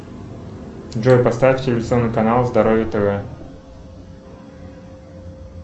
джой поставь телевизионный канал здоровье тв